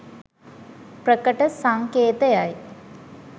ප්‍රකට සංකේතයයි.